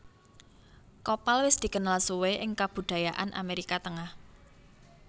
Kopal wis dikenal suwe ing kebudayaan Amerika Tengah